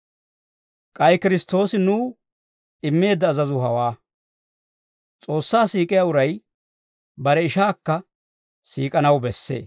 K'ay Kiristtoosi nuw immeedda azazuu hawaa; S'oossaa siik'iyaa uray bare ishaakka siik'anaw bessee.